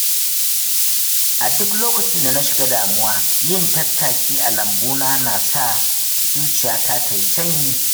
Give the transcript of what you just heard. A duk lokacin da na shiga damuwa, yin tattaki a lambuna na sa zuciyata ta yi sanyi.